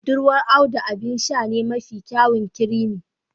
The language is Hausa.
Budurwar Audu abin sha ne mafi kyawun creami